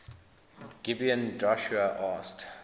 gibeon joshua asked